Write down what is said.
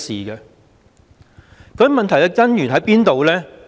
究竟問題的根源在哪裏呢？